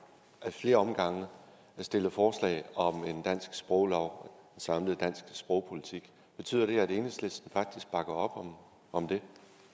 ad flere omgange stillet forslag om en dansk sproglov og en samlet dansk sprogpolitik betyder det at enhedslisten faktisk bakker op om om det